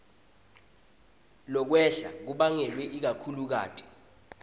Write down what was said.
lokwehla kubangelwe ikakhulukati